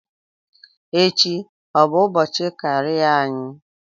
Echi ọ bụ ụbọchị karịa anyị?